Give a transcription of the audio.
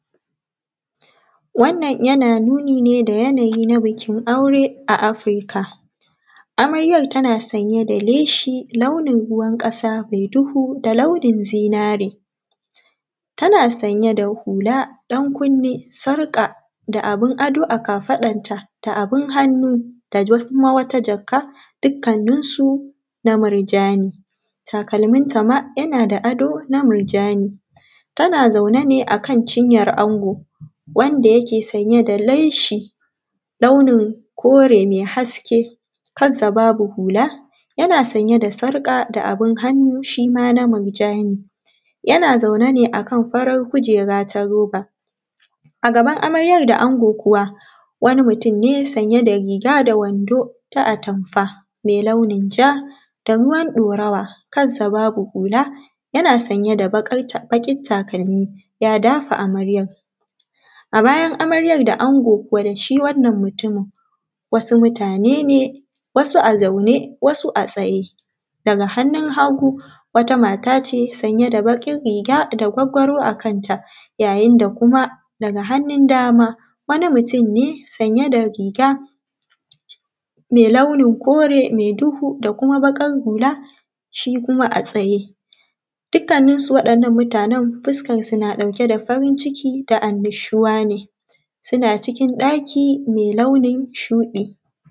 Wannan ya nuni ne da yanayi na bikin aure a Africa. Amaryan tana sanye da leshi. Launin ruwan kasa mai duhu da launin zinari. Tana sanye da hula dan kunne. Sarka da abin ado a kafadar ta. Da abin hannu dakuma wata jaka. Dukkan ninsu na murjani. Talminta ma yana da ado na murjani. Tana zaune ne akan chinyar ango. Wanda yake sanye da leshi, launin kore mai haske. Kansa babu hula. Yana sanye da sarka da abin hannu shima na murjani. Yana zaune ne akan farar kujera ta roba. Agaban amaryar da ango kuwa wani mutum ne. Sanye da riga da wando, ta atamfa. Mai launin ja da ruwan dorawa kansa babu hula. Yana sanye da bakin takalmi ya dafa amaryar. Abayan amaryar da ango kuwa da shi wannan mutumin. Wasu mutanene wasu a zaune wasu a tsaye. Daga hannun hagu wata mata ce, sanye da bakin riga da gwaggwaro a kanta. Yayin dakuma daga hannun dama wani mutum ne, sanye da riga. Mai launin kore mai duhu dakuma bakar hula. Shi kuma a tsaye. Duk kanin su wadannan muta nen. fuskarsu na ɗauke da farin ciki da annushuwa ne. Suna cikin ɗaki mee launin shuɗi.